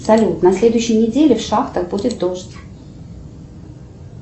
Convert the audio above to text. салют на следующей неделе в шахтах будет дождь